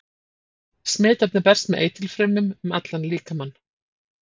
Smitefnið berst með eitilfrumum um allan líkamann.